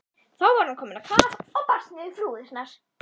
Þá var hann kominn á kaf og barst niður flúðirnar.